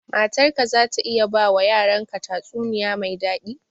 Matar ka za ta iya ba wa yaran ka tatsuniya mai daɗi?